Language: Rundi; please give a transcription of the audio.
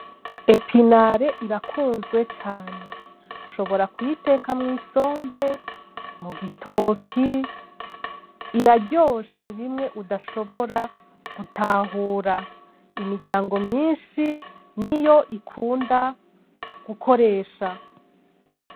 Epinare irakunzwe cane. Ushobora kuyiteka mw'isombe, mu gitoke. Iraryoshe bimwe udashobora gutahura. Imiryango myinshi niyo ikunda gukoresha.